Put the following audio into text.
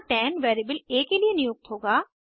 यहाँ 10 वेरिएबल आ के लिए नियुक्त होगा